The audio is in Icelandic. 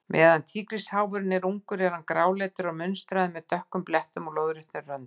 Meðan tígrisháfurinn er ungur er hann gráleitur og munstraður, með dökkum blettum og lóðréttum röndum.